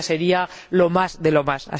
eso ya sería lo más de lo más.